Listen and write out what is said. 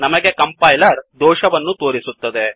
ನಮಗೆ ಕಂಪೈಲರ್ ದೋಷವನ್ನು ತೋರಿಸುತ್ತದೆ